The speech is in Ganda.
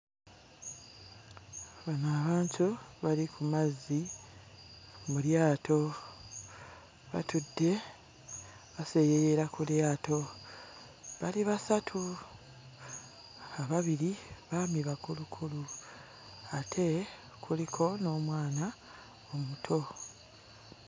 Bano abantu bali ku mazzi mu lyato batudde baseeyeeyera ku lyato bali basatu ababiri baami bakulukulu ate kuliko n'omwana omuto.